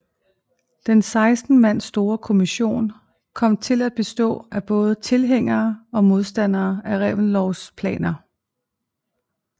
Den 16 mand store kommission kom til at bestå af både tilhængere og modstandere af Reventlows planer